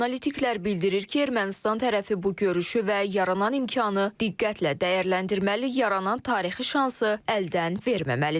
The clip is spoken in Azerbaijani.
Analitiklər bildirir ki, Ermənistan tərəfi bu görüşü və yaranan imkanı diqqətlə dəyərləndirməli, yaranan tarixi şansı əldən verməməlidir.